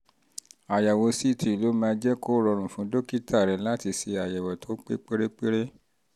àyẹ̀wò ct ló máa jẹ́ kó rọrùn fún dókítà rẹ láti ṣe àyẹ̀wò tó pé pérépéré